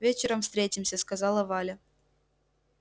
вечером встретимся сказала валя